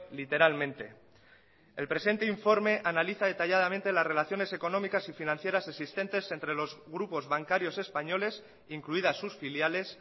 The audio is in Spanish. literalmente el presente informe analiza detalladamente las relaciones económicas y financieras existentes entre los grupos bancarios españoles incluidas sus filiales